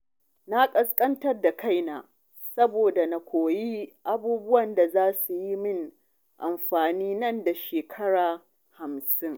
Na ƙasƙantar da kaina saboda na koyi abubuwan da za su yi min amfani nan da shekara hamsin.